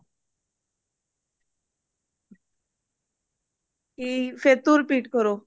ਕਿ ਫੇਰ ਤੋਂ repeat ਕਰੋ